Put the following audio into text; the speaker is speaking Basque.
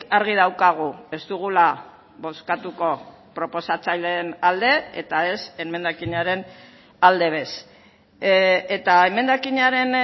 argi daukagu ez dugula bozkatuko proposatzaileen alde eta ez emendakinaren alde bez eta emendakinaren